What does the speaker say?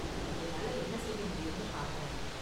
என்னால என்ன செய்ய முடியும்னு பாக்கறேன்.